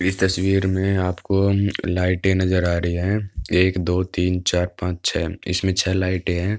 इस तस्वीर में आपको म्म लाइटे नजर आ रही हैं। एक दो तीन चार पांच छे इसमें छे लाइटे हैं।